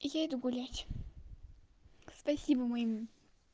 я иду гулять спасибо моему